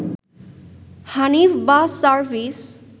Hanif bus service